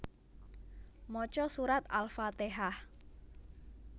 Maca surat Al fatehah